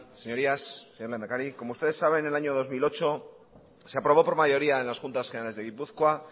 señorías señor lehendakari como ustedes saben el año dos mil ocho se aprobó por mayoría en las juntas generales de gipuzkoa